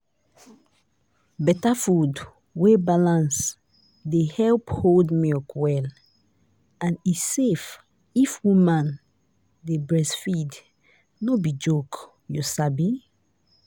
better food wey balance dey help hold milk well and e safe if woman dey breastfeed no be joke you sabi.